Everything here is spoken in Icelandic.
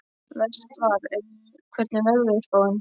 Vestar, hvernig er veðurspáin?